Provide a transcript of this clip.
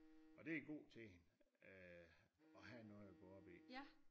Og det god til hende øh at have noget og gå op i